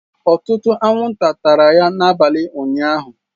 Ọtụtụ anwụnta tara ya n'abalị ụnyahụ